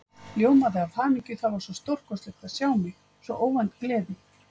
Ljómaði af hamingju, það var svo stórkostlegt að sjá mig, svo óvænt gleði.